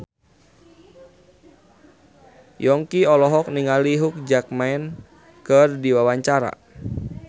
Yongki olohok ningali Hugh Jackman keur diwawancara